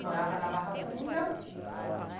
Morava na Barra Funda.